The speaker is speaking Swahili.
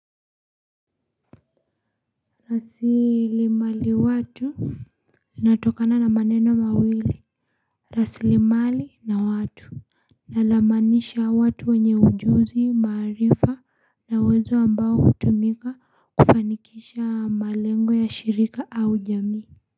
Rasilimali watu inatokana na maneno mawili. Rasili mali na watu. Na lamaanisha watu wenye ujuzi maarifa na uwezo ambao hutumika kufanikisha malengo ya shirika au jamii. Kwa hivyo.